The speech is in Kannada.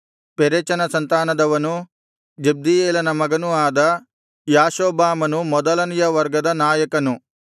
ಪೆರೆಚನ ಸಂತಾನದವನೂ ಜಬ್ದೀಯೇಲನ ಮಗನೂ ಆದ ಯಾಷೊಬ್ಬಾಮನು ಮೊದಲನೆಯ ವರ್ಗದ ನಾಯಕನು